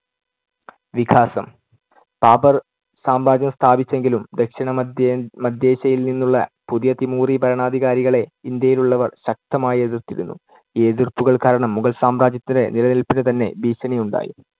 വികാസം. ബാബർ സാമ്രാജ്യം സ്ഥാപിച്ചെങ്കിലും ദക്ഷിണ മദ്ധ്യേ~ മദ്ധ്യേഷ്യയിൽ നിന്നുള്ള പുതിയ തിമൂറി ഭരണാധികാരികളെ ഇന്ത്യയിലുള്ളവർ ശക്തമായി എതിർത്തിരുന്നു. ഈ എതിർപ്പുകൾ കാരണം മുഗൾ സാമ്രാജ്യത്തിന് നിലനിൽപ്പിനു തന്നെ ഭീഷണിയുണ്ടായി.